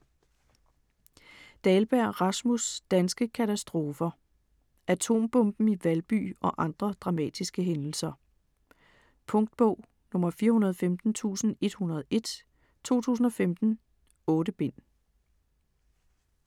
Dahlberg, Rasmus: Danske katastrofer Atombomben i Valby og andre dramatiske hændelser. Punktbog 415101 2015. 8 bind.